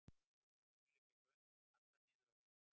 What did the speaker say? Úr lóninu liggja göng sem halla niður á við.